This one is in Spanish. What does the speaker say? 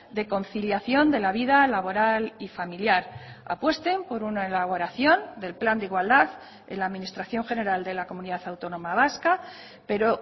de conciliación de la vida laboral y familiar apuesten por una elaboración del plan de igualdad en la administración general de la comunidad autónoma vasca pero